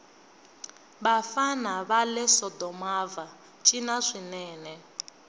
vafana vale sodomava cina swinene